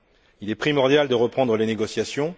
Il est primordial de reprendre les négociations.